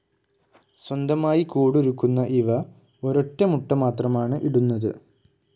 സ്വന്തമായി കൂടൊരുക്കുന്ന ഇവ ഒരൊറ്റ മുട്ട മാത്രമാണ് ഇടുന്നത്.